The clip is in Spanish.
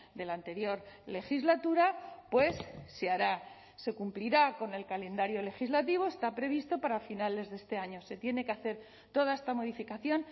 de la anterior legislatura pues se hará se cumplirá con el calendario legislativo está previsto para finales de este año se tiene que hacer toda esta modificación